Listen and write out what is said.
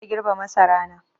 Na fara girbe masarana.